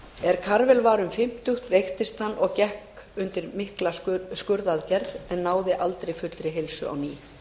er karvel var um fimmtugt veiktist hann og gekkst undir mikla skurðaðgerð en náði aldrei fullri heilsu á ný